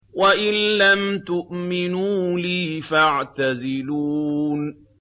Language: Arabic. وَإِن لَّمْ تُؤْمِنُوا لِي فَاعْتَزِلُونِ